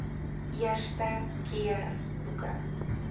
eerste keer boeke